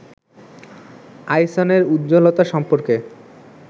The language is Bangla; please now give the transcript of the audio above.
আইসনের উজ্জ্বলতা সম্পর্কে